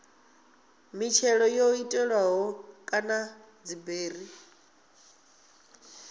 mitshelo yo tshetshelelwaho kana dziberi